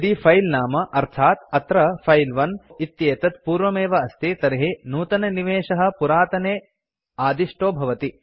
यदि फिले नाम अर्थात् अत्र फिले 1 इत्येतत् पूर्वमेव अस्ति तर्हि नूतननिवेशः पुरातने आदिष्टो भवति